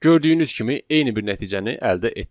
Gördüyünüz kimi eyni bir nəticəni əldə etdik.